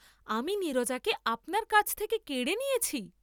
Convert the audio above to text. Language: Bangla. আমি নীরজাকে আপনার কাছ থেকে কেড়ে নিয়েছি!